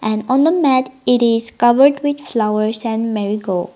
and on the mat it is covered with flowers and marigold.